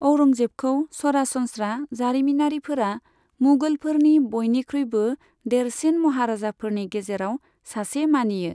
औरंगजेबखौ सरासनस्रा जारिमिनारिफोरा मुगलफोरनि बयनिख्रुइबो देरसिन महाराजाफोरनि गेजेराव सासे मानियो।